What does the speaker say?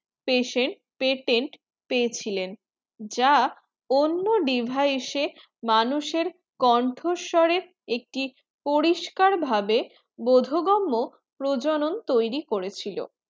patient pretend পেয়েছিলেন যা অন্য device মানুষের কণ্ঠস্বরে একটি পরিস্কারভাবে বোধোগম্য প্রজনন তৈরী করেছিল